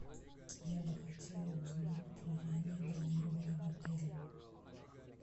я бы хотела узнать про раннее бронирование в отеле